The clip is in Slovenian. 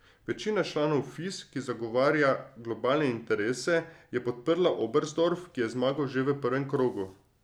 Večina članov Fis, ki zagovarja globalne interese, je podprla Oberstdorf, ki je zmagal že v prvem krogu.